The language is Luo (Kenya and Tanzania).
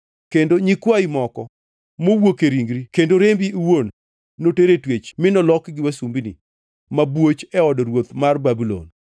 Kendo nyikwayi moko mowuok e ringri kendo rembi iwuon noter e twech mi nolokgi wasumbini mabwoch e od ruoth mar ruodh Babulon.”